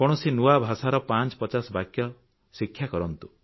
କୌଣସି ନୂଆ ଭାଷାର 550 ବାକ୍ୟ ଶିକ୍ଷା କରନ୍ତୁ